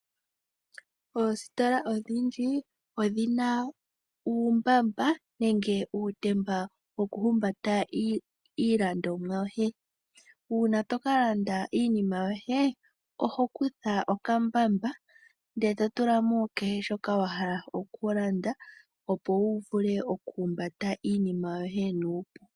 Oostola odhindji odhina uumbamba nenge uutemba woku humbata iilandomwa yoye. Uuna toka landa iinima yoye oho kutha okambamba ndele to tulamo kehe shoka wa hala oku landa opo wu vule oku humbata iinima yoye nuupu.